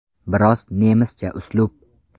Biroz nemischa uslub.